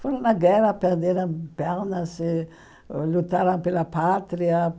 Foram na guerra, perderam pernas e, lutaram pela pátria.